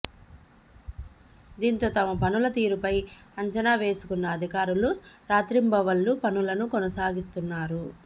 దీంతో తమ పనుల తీరుపై అంచనా వేసుకున్న అధికారులు రాత్రింబవళ్లు పనులను కొనసాగిస్తున్నారు